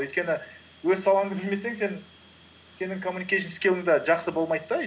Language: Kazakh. өйткені өз салаңды білмесең сен сенің коммуникейшн скилың да жақсы болмайды да